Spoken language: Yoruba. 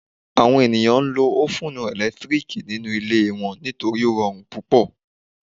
Àwọn èèyàn ń lo ófùn ẹ̀lẹ́tíríkì nínu ilé wọ́n nítorí ó rọrùn púpọ̀